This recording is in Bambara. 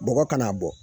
Bɔgɔ kana bɔ